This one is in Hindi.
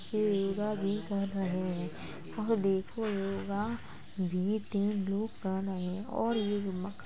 ये योगा भी कर रहे हैं वह देखने में --